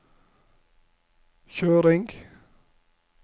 kjøring